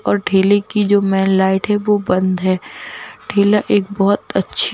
और ठेले की जो मैन लाइट है वो बंद है ठेला एक बहुत अच्छी--